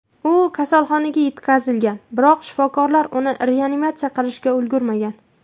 U kasalxonaga yetkazilgan, biroq shifokorlar uni reanimatsiya qilishga ulgurmagan.